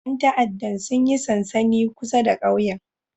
Yan ta'addan sun yi sansani kusa da kauyen